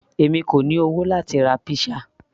èmi kò ní owó láti ra pizza